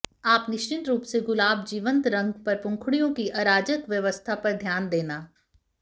आप निश्चित रूप से गुलाब जीवंत रंग पर पंखुड़ियों की अराजक व्यवस्था पर ध्यान देना